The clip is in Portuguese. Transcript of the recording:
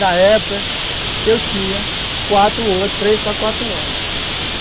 Na época, eu tinha quatro, três para quatro anos.